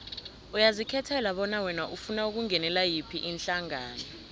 uyazikhethela bona wena ufuna ukungenela yiphi ihlangano